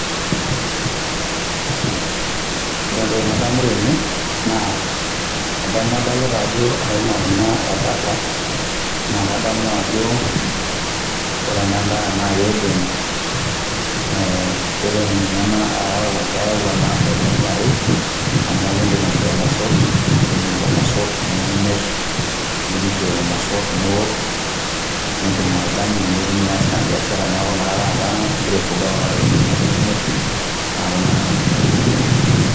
Ore enatoki nadamu tene naa adamu adolita Ajo aina Kuna ebata naa kadamu ajo ore ena naa kidim eeh kidim ninye ena ayau faidani are amu ekidim aishoo irmosorr . Nitum lelo mosor nimirr ,idumu si lelo mosor niok ,nindim atadanyu Nia's Ina biashara niaku naa taa ingira aifuga Kuna tokitin nimirr.